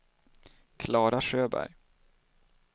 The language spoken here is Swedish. Klara Sjöberg